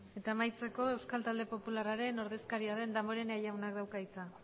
eta amaitzeko euskal talde popularraren ordezkaria den damborenea jaunak dauka hitza